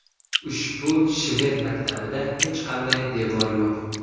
Ushbu shved maktabida hech qanday devor yo‘q.